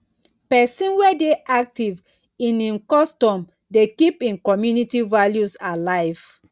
pesin wey dey aktiv in im custom dey keep im community values alive.